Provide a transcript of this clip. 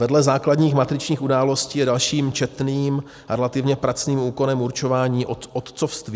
Vedle základních matričních událostí je dalším četným a relativně pracným úkonem určování otcovství.